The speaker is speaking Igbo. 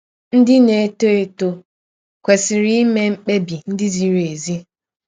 Ndị na - etọ etọ kwesịrị ime mkpebi ndị ziri ezi.